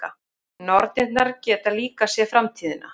Nornirnar geta líka séð framtíðina.